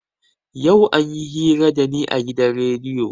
Yau anyi hira da ni a gidan rediyo.